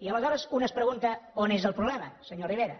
i aleshores un es pregunta on és el problema senyor rivera